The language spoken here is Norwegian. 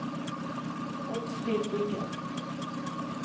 Oddfrid Wiggen